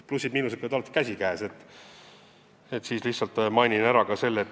Plussid-miinused käivad alati käsikäes ja mainin ära ka plussid.